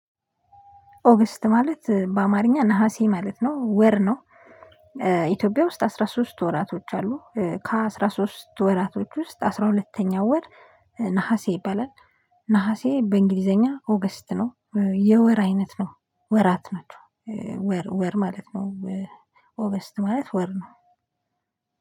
ኦገስት ማለት በአማርኛ ነሀሴ ማለት ነው ወር ነው። ኢትዮጵያ ውስጥ አስራ ሶስት ወራቶች አሉ ከአስራ ሶስት ወራቶች ውስጥ አስራ ሁለተኛው ወር ነሀሴ ይባላል ነሀሴ በእንግሊዘኛ ኦገስት ነው። የወር አይነት ነው ወራት ናቸው ወር ወር ማለት ነው ኦቨርስት ማለት ወር ነው።